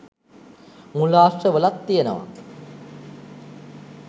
මූලාශ්‍ර වල ත් තියෙනවා